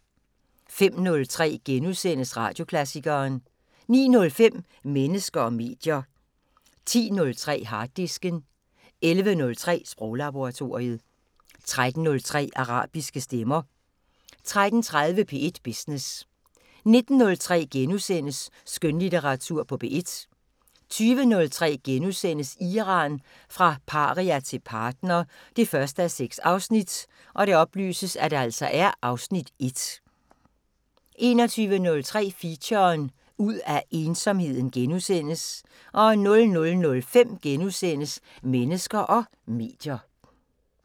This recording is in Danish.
05:03: Radioklassikeren * 09:05: Mennesker og medier 10:03: Harddisken 11:03: Sproglaboratoriet 13:03: Arabiske stemmer 13:30: P1 Business 19:03: Skønlitteratur på P1 * 20:03: Iran – fra paria til partner 1:6 (Afs. 1)* 21:03: Feature: Ud af ensomheden * 00:05: Mennesker og medier *